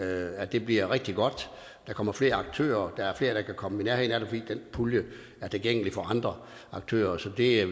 at det bliver rigtig godt der kommer flere aktører der er flere der kan komme i nærheden af det fordi den pulje er tilgængelig for andre aktører så det